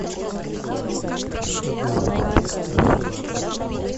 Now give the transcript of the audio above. шедевр поставь